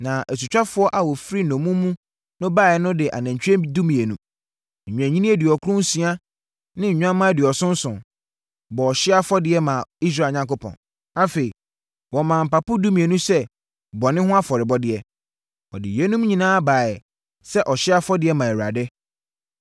Na asutwafoɔ a wɔfiri nnommum mu baeɛ no de anantwie dumienu, nnwennini aduɔkron nsia ne nnwammaa aduɔson nson, bɔɔ ɔhyeɛ afɔdeɛ, maa Israel Onyankopɔn. Afei, wɔmaa mpapo dumienu sɛ bɔne ho afɔrebɔdeɛ. Wɔde yeinom nyinaa baeɛ sɛ ɔhyeɛ afɔdeɛ, maa Awurade.